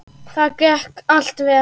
Það gekk allt vel.